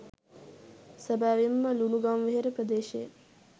සැබැවින්ම ලුණුගම්වෙහෙර ප්‍රදේශයේ